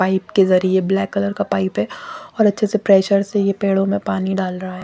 Pipe के जरिए ये ब्लैक कलर का पाइप है और अच्छे से प्रेशर से ये पेड़ों मे पानी डाल रहा है।